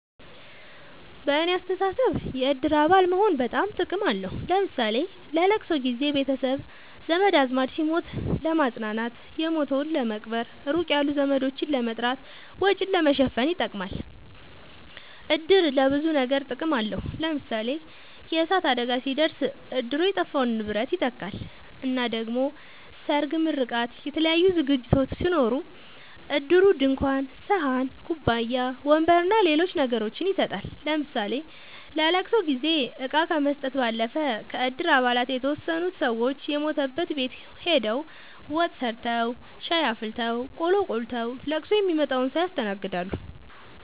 በኔ አስተሳሰብ የእድር አባል መሆን በጣም ጥቅም አለዉ ለምሳሌ ለለቅሶ ጊዘ ቤተሰብ ዘመድአዝማድ ሲሞት ለማጽናናት የሞተዉን ለመቅበር ሩቅ ያሉ ዘመዶችን ለመጥራት ወጪን ለመሸፈን ይጠቅማል። እድር ለብዙ ነገር ጥቅም አለዉ ለምሳሌ የእሳት አደጋ ሲደርስ እድሩ የጠፋውን ንብረት ይተካል እና ደሞ ሰርግ ምርቃት የተለያዩ ዝግጅቶች ሲኖሩ እድሩ ድንኳን ሰሀን ኩባያ ወንበር አና ሌሎች ነገሮችን ይሰጣል ለምሳሌ ለለቅሶ ጊዜ እቃ ከመስጠት ባለፈ ከእድር አባላት የተወሰኑት ሰወች የሞተበት ቤት ሆደው ወጥ ሰርተዉ ሻይ አፍልተው ቆሎ ቆልተዉ ለቅሶ ሚመጣዉን ሰዉ ያስተናግዳሉ።